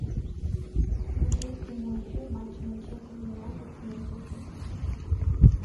смотреть прямой эфир матча манчестер юнайтед с манчестер сити